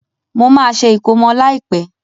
Mo má se ìkómọ láìpẹ́